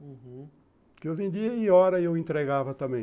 Uhum, porque eu vendia e, hora, eu entregava também.